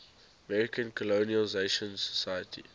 american colonization society